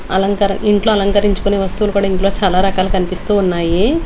అలంకరం ఇంట్లో అలంకరించుకునే వస్తువులు కూడా ఇంట్లో చాలా రకాలు కనిపిస్తూ ఉన్నాయి.